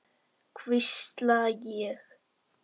hvísla ég.